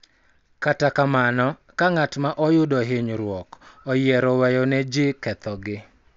Kata kamano, ka ng�at ma oyudo hinyruok oyiero weyo ne ji kethogi, .